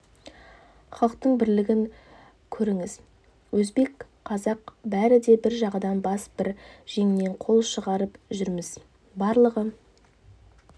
халықтың бірлігін көріңіз өзбек қазақ бәрі де бір жағадан бас бір жеңнен қол шығарып жүрміз барлығы